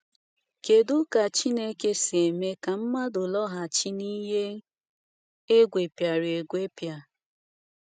Kedu ka Chineke si eme ka mmadụ “laghachi n’ihe egwepịara egwepịa”?